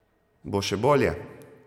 Bo še bolje?